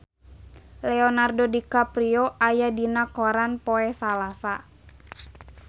Leonardo DiCaprio aya dina koran poe Salasa